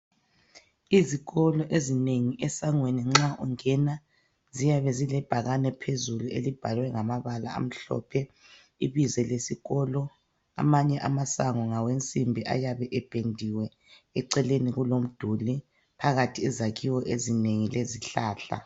Izikolo ezinengi esangweni nxa ungena , ziyabe zilebhakane phezulu elibhalwe ngamabala amhlophe ibizo lesikolo Amanye amasango ngawensimbi ayabe ependiwe eceleni kulomduli phakathi kwezakhiwo ezinengi lezihlahla.